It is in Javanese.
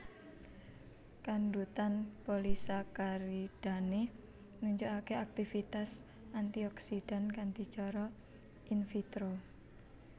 Kandhutan polisakaridane nunjukake aktivitas antioksidan kanthi cara in vitro